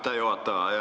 Aitäh juhataja!